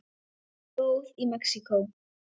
Flóð í Mexíkó